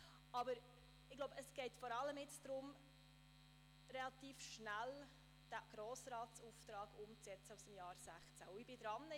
Aber jetzt geht es vor allem darum, den Grossratsauftrag aus dem Jahr 2016 relativ schnell umzusetzen.